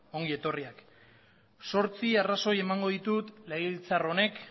ongi etorriak zortzi arrazoi emango ditut legebiltzar honek